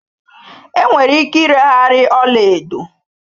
Enwere ike ireghari ọla edo